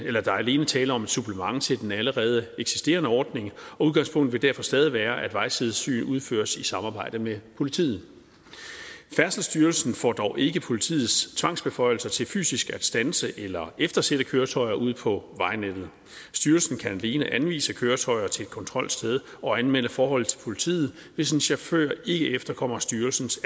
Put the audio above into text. er alene tale om et supplement til den allerede eksisterende ordning og udgangspunktet vil derfor stadig være at vejsidesyn udføres i samarbejde med politiet færdselsstyrelsen får dog ikke politiets tvangsbeføjelser til fysisk at standse eller eftersætte køretøjer ud på vejnettet styrelsen kan alene anvise køretøjer til et kontrolsted og anmelde forhold til politiet hvis en chauffør ikke efterkommer styrelsens